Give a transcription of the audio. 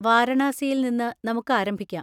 വാരണാസിയിൽ നിന്ന് നമുക്ക് ആരംഭിക്കാം.